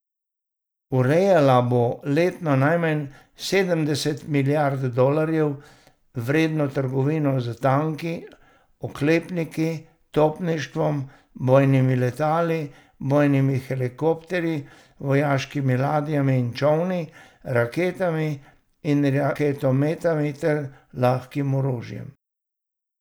Urejala bo letno najmanj sedemdeset milijard dolarjev vredno trgovino s tanki, oklepniki, topništvom, bojnimi letali, bojnimi helikopterji, vojaškimi ladjami in čolni, raketami in raketometi ter lahkim orožjem.